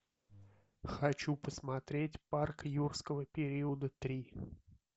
хочу посмотреть парк юрского периода три